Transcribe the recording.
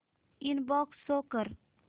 inbox show कर